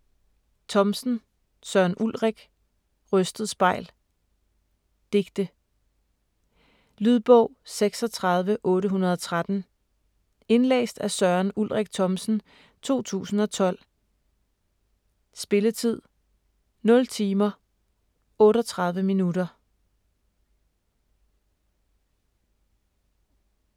Thomsen, Søren Ulrik: Rystet spejl Digte. Lydbog 36813 Indlæst af Søren Ulrik Thomsen, 2012. Spilletid: 0 timer, 38 minutter.